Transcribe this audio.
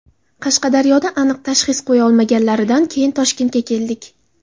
Qashqadaryoda aniq tashxis qo‘ya olmaganlaridan keyin Toshkentga keldik.